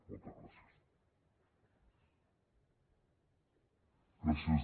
moltes gràcies